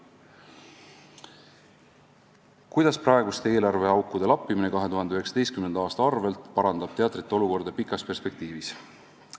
Kuues küsimus: "Kuidas praeguste eelarveaukude lappimine 2019. aasta arvelt parandab teatrite olukorda pikas perspektiivis?